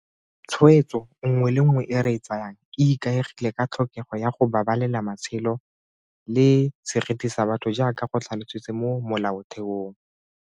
Tshwetso nngwe le nngwe e re e tsayang e ikaegile ka tlhokego ya go babalela matshelo le seriti sa batho jaaka go tlhalositswe mo Molaotheong.